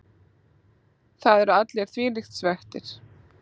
Það eru allir þvílíkt svekktir.